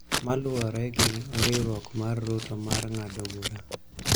ma luwore gi riwruok mar Ruto mar ng�ado bura.